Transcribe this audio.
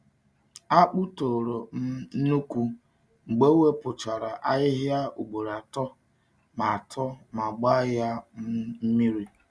Akpụ toro um nnukwu mgbe e wepụchara ahịhịa ugboro atọ ma atọ ma gbaa ya um mmiri.